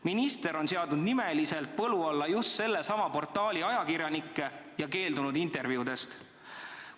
Minister on seadnud nimeliselt põlu alla just sellesama portaali ajakirjanikke ja keeldunud intervjuudest.